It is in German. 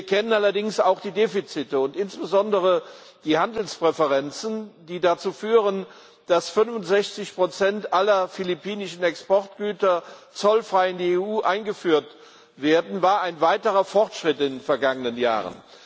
Wir kennen allerdings auch die Defizite, und insbesondere die Handelspräferenzen, die dazu führen, dass 65 Prozent aller philippinischen Exportgüter zollfrei in die EU eingeführt werden, war ein weiterer Fortschritt in den vergangenen Jahren.